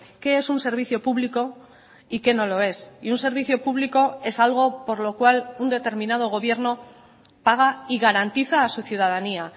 qué es un servicio público y qué no lo es y un servicio público es algo por lo cual un determinado gobierno paga y garantiza a su ciudadanía